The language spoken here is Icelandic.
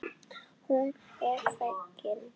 Hún er fegin.